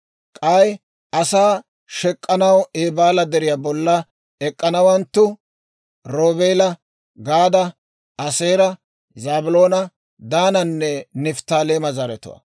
K'ay asaa shek'k'anaw Eebaala Deriyaa bolla ek'k'anawanttu: Roobeela, Gaada, Aaseera, Zaabiloona, Daananne Nifttaaleema zaratuwaa.